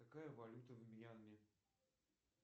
какая валюта в мьянме